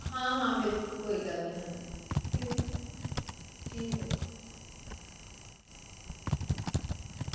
ਹਾਂ ਹਾਂ ਬਿਲਕੁਲ ਕੋਈ ਗੱਲ ਨੀ ਹਾਂਜੀ ਠੀਕ ਹੈ